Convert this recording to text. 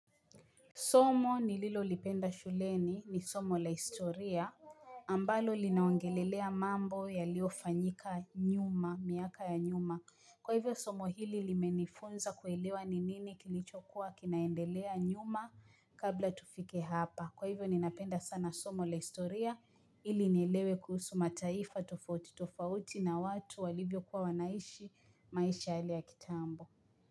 Somo nililo lipenda shuleni ni somo la historia ambalo linaongelelea mambo yaliofanyika nyuma miaka ya nyuma kwa hivyo somo hili limenifunza kuelewa ni nini kilichokuwa kinaendelea nyuma kabla tufike hapa kwa hivyo ninapenda sana somo la historia ili nielewe kuhusu mataifa tofauti tofauti na watu walivyo kuwa wanaishi maisha yale ya kitambo.